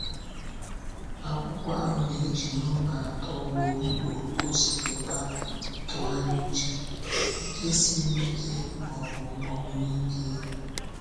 Akwụkwọ ahụ na-eji nọmba atọ ugboro ugboro gosipụta ịtụgharị uche, ike siri ike, ma ọ bụ mgbakwunye ike.